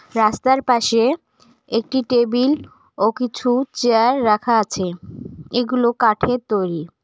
রাস্তার পাশে একটি টেবিল ও কিছু চেয়ার রাখা আছে এগুলো কাঠের তৈরি।